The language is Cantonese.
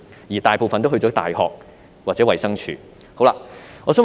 他們大多選擇在大學或衞生署工作。